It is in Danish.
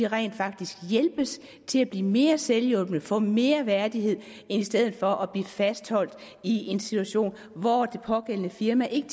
rent faktisk hjælpes til at blive mere selvhjulpne få mere værdighed i stedet for at blive fastholdt i en situation hvor det pågældende firma ikke